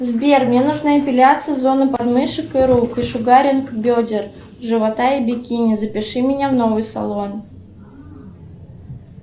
сбер мне нужна эпиляция зоны подмышек и рук и шугаринг бедер живота и бикини запиши меня в новый салон